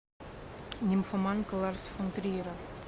нимфоманка ларса фон триера